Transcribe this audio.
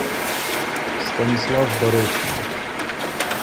станислав бородкин